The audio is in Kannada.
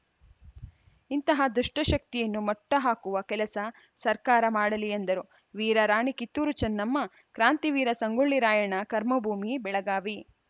ಇಂತಹ ದುಷ್ಟಶಕ್ತಿಯನ್ನು ಮಟ್ಟಹಾಕುವ ಕೆಲಸ ಸರ್ಕಾರ ಮಾಡಲಿ ಎಂದರು ವೀರ ರಾಣಿ ಕಿತ್ತೂರು ಚನ್ನಮ್ಮ ಕ್ರಾಂತಿ ವೀರ ಸಂಗೊಳ್ಳಿ ರಾಯಣ್ಣನ ಕರ್ಮಭೂಮಿ ಬೆಳಗಾವಿ